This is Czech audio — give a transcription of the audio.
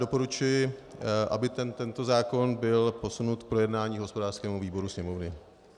Doporučuji, aby tento zákon byl posunut k projednání hospodářském výboru Sněmovny.